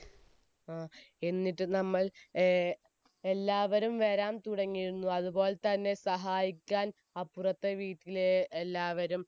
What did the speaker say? ആഹ് എന്നിട്ട് നമ്മൾ എല്ലാവരും ഏർ എല്ലാവരും വരാൻ തുടങ്ങിയിരുന്നു അതുപോലെത്തന്നെ സഹായിക്കാൻ അപ്പുറത്തെ വീട്ടിലെ എല്ലാവരും